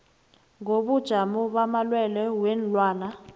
ngobujamo bamalwelwe weenlwana